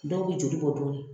Dɔw bɛ joli bɔ dɔɔnin